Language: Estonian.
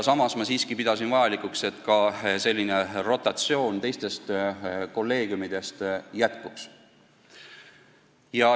Samas ma siiski pean vajalikuks, et ka rotatsioon teistest kolleegiumidest jätkuks.